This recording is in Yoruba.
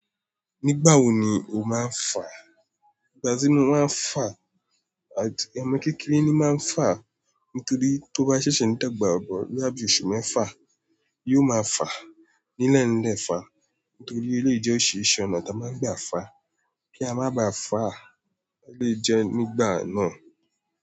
Nígbà wo ni o máa ń fà? Ìgbà tí mo máa ń fà àti ẹmu kékeré ni máa ń fà nítorí tó bá ṣẹ̀ṣẹ̀ ní tàgbà, ọ̀bọ bí i oṣù mẹ́fà yóò máa fà. Ní lẹ́ẹ̀ lẹ́ fà nítorí ó lè jẹ́ ó ṣe iṣẹ́ ọ̀nà tí a máa gbà fà. Kí a má bà fà, a lè jẹ nígbà náà.